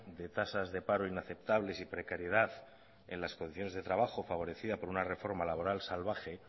de tasas de paro inaceptables y precariedad en las condiciones de trabajo favorecida por una reforma laboral salvaje